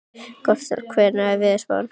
Gottskálk, hvernig er veðurspáin?